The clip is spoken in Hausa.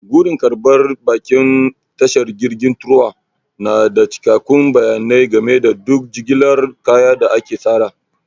Gurin karɓar baƙin tashar jirgi truwa tana da cikakkun bayanai game da duk jigilar kaya da aka tsara.